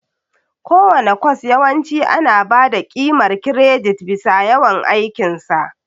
Kowane kwas yawanci ana ba da ƙimar kiredit bisa yawan aikin sa.